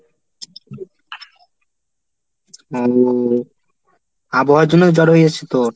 আহ আবহাওয়ার জন্য জ্বর হয়ে গেছে তোর?